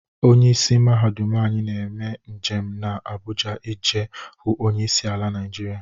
Onye isi mahadum anyi na-eje njem na Abụja ije hụ onye isi ala Naịjiria